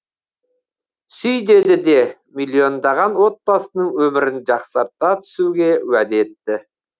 сүй деді де миллиондаған отбасының өмірін жақсарта түсуге уәде етті